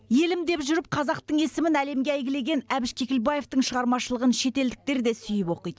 елім деп жүріп қазақтың есімін әлемге әйгілеген әбіш кекілбаевтың шығармашылығын шетелдіктер де сүйіп оқиды